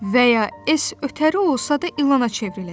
Və ya Es ötəri olsa da ilana çevriləcək.